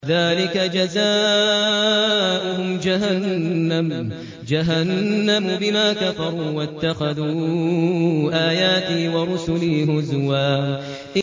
ذَٰلِكَ جَزَاؤُهُمْ جَهَنَّمُ بِمَا كَفَرُوا وَاتَّخَذُوا آيَاتِي وَرُسُلِي هُزُوًا